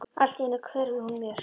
Allt í einu hverfur hún mér.